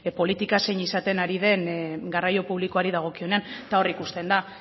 politika zein izaten ari den garraio publikoari dagokionean eta hor ikusten da